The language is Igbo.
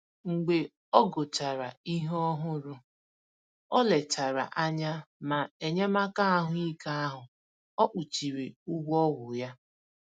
Mgbe ọ gụchàrà ihe òhùrù, ọ lechàrà anya ma enyémàkà ahụ́ ike ahụ o kpuchiri ụgwọ ọgwụ ya